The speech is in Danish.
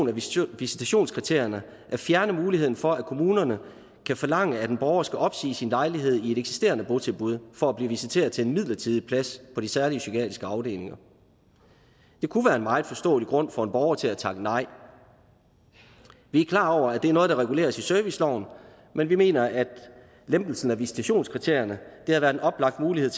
revision af visitationskriterierne at fjerne muligheden for at kommunerne kan forlange at en borger skal opsige sin lejlighed i et eksisterende botilbud for at blive visiteret til en midlertidig plads på de særlige psykiatriske afdelinger det kunne være en meget forståelig grund for en borger til at takke nej vi er klar over at det er noget der reguleres i serviceloven men vi mener at lempelsen af visitationskriterierne havde været en oplagt mulighed